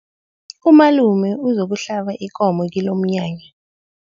Umalume uzokuhlaba ikomo kilomnyanya.